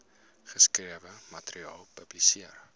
geskrewe materiaal publiseer